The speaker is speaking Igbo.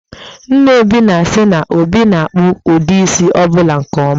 Nna Obi na-asị na, Obi na-akpụ ụdị isi ọ bụla nke ọma